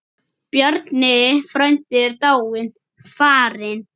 Bjarni frændi er dáinn, farinn.